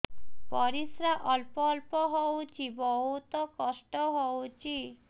ପରିଶ୍ରା ଅଳ୍ପ ଅଳ୍ପ ହଉଚି ବହୁତ କଷ୍ଟ ହଉଚି